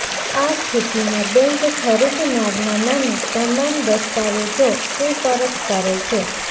આ સ્થિતિમાં બેંક ખરીદનારના નામે તમામ દસ્તાવેજો સુપરત કરે છે